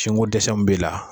Sinko dɛsɛ min b'e la